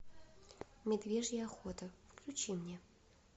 медвежья охота включи мне